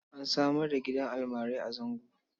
An samar da gidan almarai a Zango.